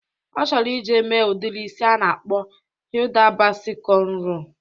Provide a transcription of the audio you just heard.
Ọ chọrọ ije mee udiri isi a na-akpọ Hida Basi kọnro.